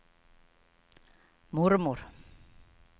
mormor